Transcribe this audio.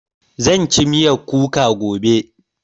Zan ci miyan kuka gobe